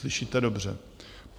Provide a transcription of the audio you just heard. Slyšíte dobře.